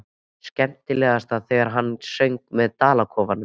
Skemmtilegast þegar hann söng um dalakofann.